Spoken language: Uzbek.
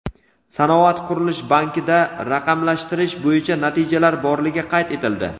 "Sanoat qurilish banki"da raqamlashtirish bo‘yicha natijalar borligi qayd etildi.